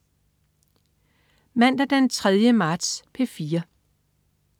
Mandag den 3. marts - P4: